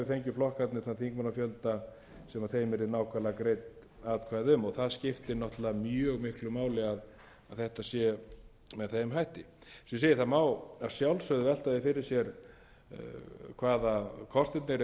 flokkarnir þann þingmannafjölda sem þeim yrði nákvæmlega greidd atkvæði um og það skiptir náttúrlega mjög miklu máli að þetta sé með þeim hætti eins og ég segi það má að sjálfsögðu velta því fyrir sér hvað kostirnir eru augljósir